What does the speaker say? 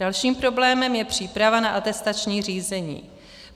Dalším problémem je příprava na atestační řízení.